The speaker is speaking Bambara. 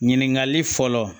Ɲininkali fɔlɔ